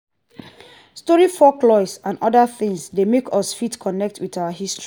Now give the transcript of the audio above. story folklores and oda things dey make us fit connect with our history